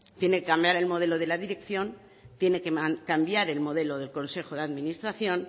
tiene que cambiar el modelo de la dirección tiene que cambiar el modelo del consejo de administración